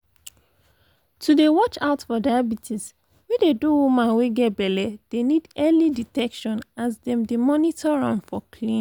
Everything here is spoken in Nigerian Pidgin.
to dey watch out for diabetes wey dey do woman wey get belle dey need early detection as dem dey monitor am for clinics